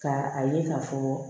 Ka a ye ka fɔ